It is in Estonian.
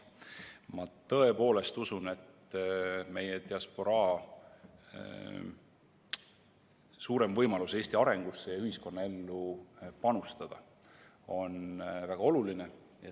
Ma tõepoolest usun, et meie diasporaa suurem võimalus Eesti arengusse ja ühiskonnaellu panustada on väga oluline.